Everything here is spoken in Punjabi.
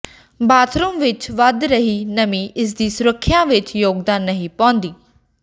ਬਾਥਰੂਮ ਵਿਚ ਵਧ ਰਹੀ ਨਮੀ ਇਸਦੀ ਸੁਰੱਖਿਆ ਵਿਚ ਯੋਗਦਾਨ ਨਹੀਂ ਪਾਉਂਦੀ